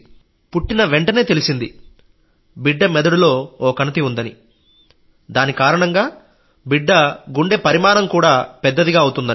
పుట్టిన వెంటనే తెలిసింది బిడ్డ మెదడులో నరాల గుచ్ఛం ఉందని దాని కారణంగా బిడ్డ గుండె పరిమాణం పెద్దదిగా అవుతుందని